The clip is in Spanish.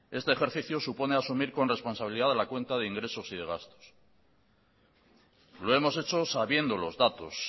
este ejercicio supone asumir con responsabilidad la cuenta de ingresos y de gastos lo hemos hecho sabiendo los datos